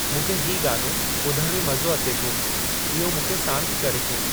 मूंखे ही गानो ॿुधण में मज़ो अचे थो इहो मूंखे सांति करे थो